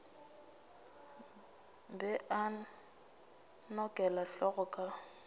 be a nokela hlogo ka